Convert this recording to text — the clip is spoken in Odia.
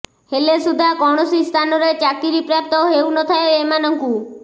ହେଲେ ସୁଧା କୌଣସି ସ୍ଥାନରେ ଚାକିରୀ ପ୍ରାପ୍ତ ହେଉନଥାଏ ଏମାନଙ୍କୁ